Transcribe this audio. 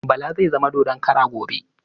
Bala zai zama dodon kara gobe.